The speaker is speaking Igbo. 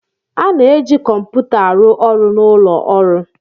A na-eji kọmputa arụ ọrụ n'ụlọ ọrụ.